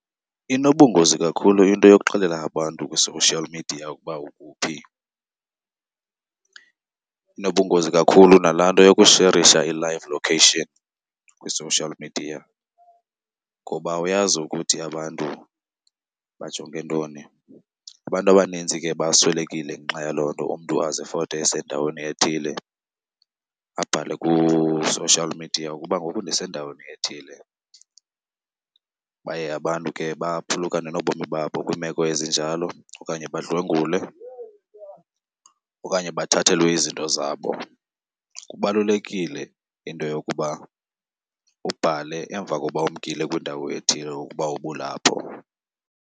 Inobungozi kakhulu into yokuxelela abantu kwi-social media ukuba ukuphi. Inobungozi kakhulu nalaa nto yokusherisha i-live location kwi-social media ngoba awuyazi ukuthi abantu bajonge ntoni. Abantu abanintsi ke baswelekile ngenxa yaloo nto, umntu azifote esendaweni ethile abhale ku-social media ukuba ngoku ndisendaweni ethile. Baye abantu ke baphulukane nobomi babo kwiimeko ezinjalo okanye badlwengulwe okanye bathathelwe izinto zabo. Kubalulekile into yokuba ubhale emva koba umkile kwindawo ethile ukuba ubulapho.